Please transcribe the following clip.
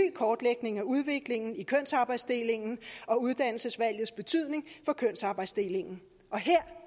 kortlægning af udviklingen i kønsarbejdsdelingen og uddannelsesvalgets betydning for kønsarbejdsdelingen og her